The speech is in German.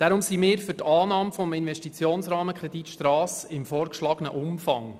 Deshalb sind wir für Annahme des Investitionsrahmenkredits Strasse im vorgeschlagenen Umfang.